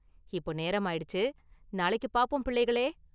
இப்போ நேரம் ஆயிடுச்சு! நாளைக்கு பார்ப்போம், பிள்ளைகளே!